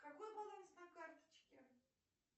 какой баланс на карточке